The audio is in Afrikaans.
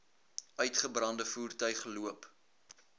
uitgebrande voertuig loop